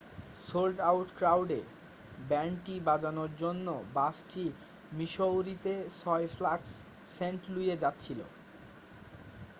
sold out ক্রাউডে ব্যান্ডটি বাজানোর জন্য বাসটি মিসৌরিতে 6 ফ্ল্যাগস সেন্ট লুইয়ে যাচ্ছিল